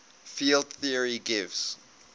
field theory gives